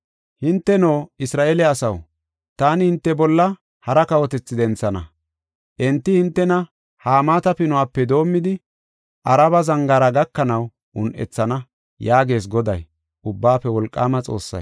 “Hinteno, Isra7eele asaw, taani hinte bolla hara kawotethi denthana; enti hintena Hamaata Pinuwape doomidi, Araba zangaara gakanaw un7ethana” yaagees Goday, Ubbaafe Wolqaama Xoossay.